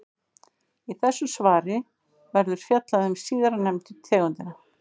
Í þessu svari verður fjallað um síðarnefndu tegundina.